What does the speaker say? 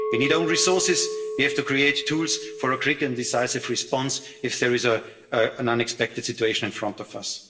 We need flexibility. We need own resources. We have to create tools for a quick and decisive response if there is an unexpected situation